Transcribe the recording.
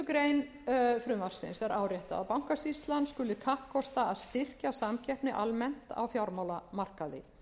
grein frumvarpsins er áréttað að bankasýslan skuli kappkosta að styrkja samkeppni almennt á fjármálamarkaði